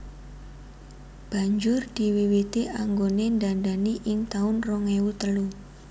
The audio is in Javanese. Banjur diwiwiti anggone ndandani ing taun rong ewu telu